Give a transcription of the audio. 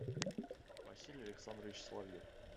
василий александрович соловьев